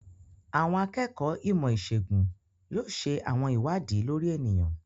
Àwọn akẹ́kọ̀ọ́ ìmọ̀-ìṣègùn yóò ṣe àwọn ìwádìí lórí ènìyàn.